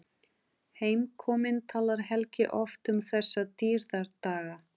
Heimkominn talar Helgi oft um þessa dýrðardaga.